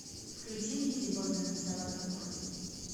включи лиззи борден взяла топор